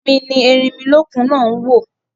Èmi ni erinmilókun náà ń wò